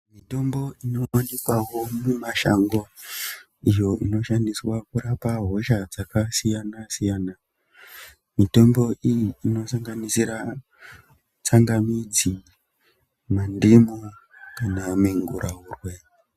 Mitombo inoiswawo mumashango iyo inoshandiswa kurapa hosha dzakasiyana-siyana. Mitombo iyi inosanganisira tsangamidzi, mandimu, kana minguraurwe.